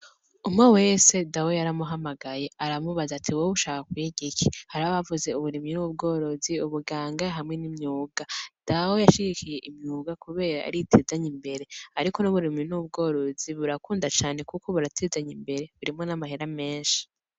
Umwe wese dawe yaramuhamagaye aramubaza ati wewe ushaka kwiga iki? hara bavuze Uburimyi n'ubworozi ,ubuganga hamwe n'imyuga, dawe yashigikiye imyuga kubera ariyo itezanya imbere ariko n'uburimyi n'ubworozi burakunda cane kuko buratezanya imbere harimwo na mahera menshi.